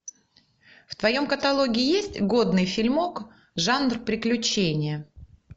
в твоем каталоге есть годный фильмок жанр приключения